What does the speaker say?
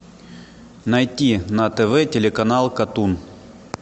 найти на тв телеканал катун